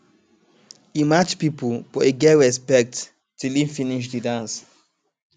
e match people but e get respect till e finish de dance